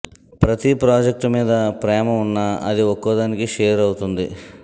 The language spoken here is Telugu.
ప్రతీ ప్రాజెక్ట్ మీద ప్రేమ ఉన్నా అది ఒక్కోదానికి షేర్ అవుతుంది